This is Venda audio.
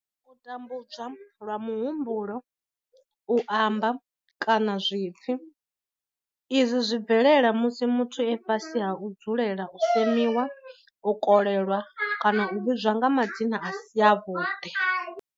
U tambudzwa lwa muhumbulo, u amba, kana zwipfi. Izwi zwi bvelela musi muthu e fhasi ha u dzulela u semiwa, u kolelwa kana u vhidzwa nga madzina a si avhuḓi.